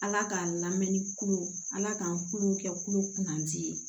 Ala k'a lamɛn ni kulo ala k'an kulo kɛ kulo kunnaji ye